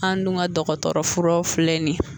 An dun ka dɔgɔtɔrɔ furaw filɛ nin ye